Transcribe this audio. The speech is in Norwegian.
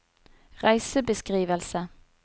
reisebeskrivelse